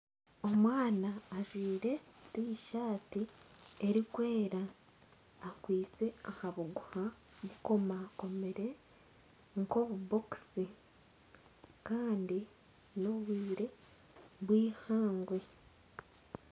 Omwana ajwaire tishati erikwera akwaitse aha buguha bukomakomire nka obubokisi kandi n'obwire bw'eihangwe.